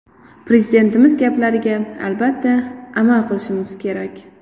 Prezidentimiz gaplariga, albatta, amal qilishimiz kerak.